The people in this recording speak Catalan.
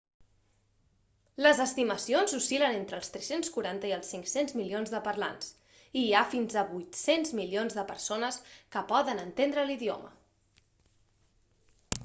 les estimacions oscil·len entre els 340 i els 500 milions de parlants i hi ha fins a 800 milions de persones que poden entendre l'idioma